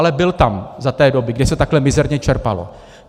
Ale byl tam v té době, kdy se takhle mizerně čerpalo.